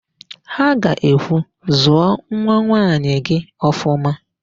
Ha ga-ekwu, "zụọ nwanwaanyị gị ọfụma"!